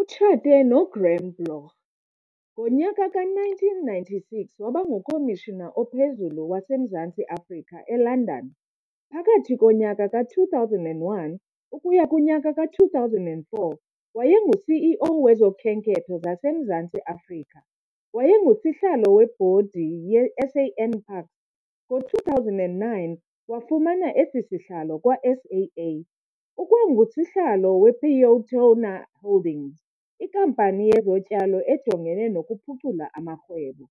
Utshate noGraham Bloch.Ngonyaka ka-1996 wabanguKomishina ophezulu waseMzantsi Afrika eLondon. Phakathi konyaka ka-2001 ukuya kunyaka ka2004 wayenguCEO wezokhenketho zaseMzantsi Afrika.WayenguSihlalo webhodi yeSANPARKS, ngo-2009 wafumana esisihlalo kwaSAA .UkwanguSihlalo wePeotona Holdings, ikampani yezotyalo ejongene nokuphucula amarhwebo.